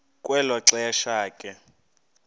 kwelo xesha ke